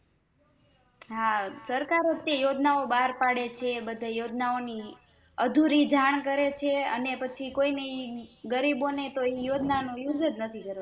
હા સરકારજ યોજના ઓં બાર પડે છે યોજના ઓં ની અધુરી જાણ કરે છે અને પછી કોઈને ગરીબોને એ યોજના નો Use જ નથી કરવા દેતી